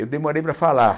Eu demorei para falar.